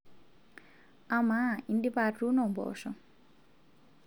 amaa indipa atuuno mboosho